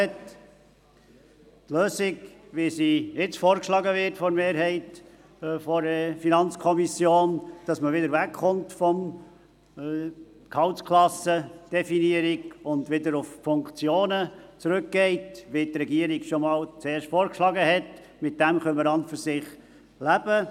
Die Lösung, die nun von der Mehrheit der FiKo vorgeschlagen wird, wonach man wieder wegkommt von der Definition über Gehaltsklassen und wieder die Funktionen benennt, so wie es die Regierung ursprünglich vorgeschlagen hatte, damit können wir an und für sich leben.